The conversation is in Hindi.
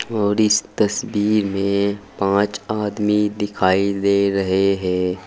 और इस तस्वीर मे पांच आदमी दिखाई दे रहे हैं।